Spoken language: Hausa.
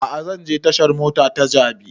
A'a zan je tashan mota ta jabi